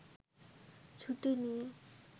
ছুটি নিয়ে